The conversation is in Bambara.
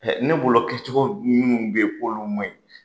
Ne bolo kɛcogo minnu bɛ yen k'olu ma ɲi.